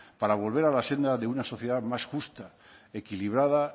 para volver a la senda de una sociedad más justa equilibrada